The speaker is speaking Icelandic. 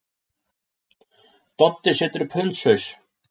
Doddi setur upp hundshaus.